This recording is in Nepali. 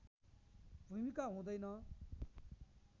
भूमिका हुँदैन